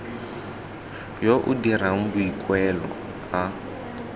yo o dirang boikuelo a